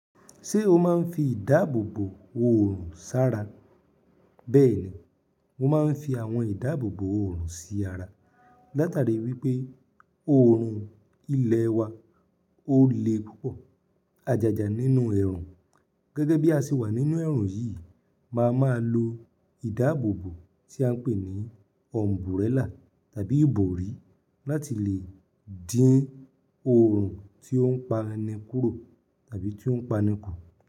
Ṣé o máa ń fi ìdáàbòbò oòrùn sára? Bẹ́ẹ̀ni, mo máa ń fi àwọn ìdáàbòbò oòrùn sí ara látàrí wípé oòrùn ilẹ̀ wa ó le púpọ̀. Ajaja nínú ẹ̀rùn gẹ́gẹ́ bí a ṣe wà nínú ẹ̀rùn yìí máa ma lo ìdáàbòbò tí à ń pè ní ọ̀m̀búrẹ́là tàbí ìbòrí láti lè dín oòrùn tí ó ń pa ni kúrò tàbí tí ó ń pa ni kù.